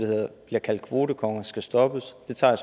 bliver kaldt kvotekonger skal stoppes det tager